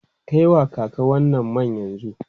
Kai wa kaka wannan man yanzu!